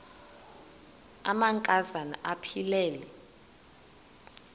amanka zana aphilele